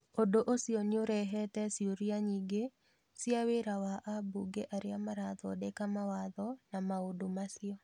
ũndũ ũcio nĩũrehete ciũria nyingĩ cia wĩra wa ambunge arĩa marathondeka mawatho na maũndũ macio.